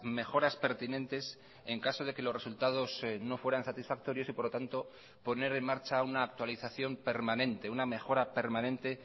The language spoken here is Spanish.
mejoras pertinentes en caso de que los resultados no fueran satisfactorios y por lo tanto poner en marcha una actualización permanente una mejora permanente